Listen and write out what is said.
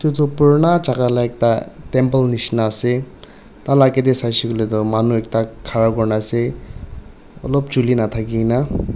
etu purana jaga la ekta temple nishena ase taila aage de saishe kuile toh manu ekta khara kuri na ase olop chuli nathaki na.